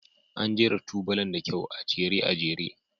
An jera tubalan da kyau, a jere a jere.